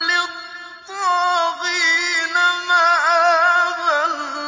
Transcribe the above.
لِّلطَّاغِينَ مَآبًا